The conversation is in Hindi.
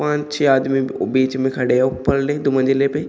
पांच छह आदमी बीच में खड़े हैं ऊपरले दो मंजिले पे।